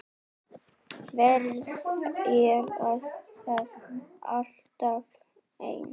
Verð ég þá alltaf ein?